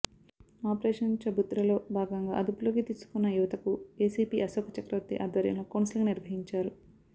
operation ఛబుత్రలో భాగంగా అదుపులోకి తీసుకున్న యువతకు ఏసీపీ అశోక చక్రవర్తి ఆధ్వర్యంలో కౌన్సెలింగ్ నిర్వహించారు